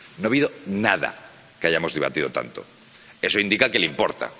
no ha habido nada que hayamos debatido tanto eso indica que le importa.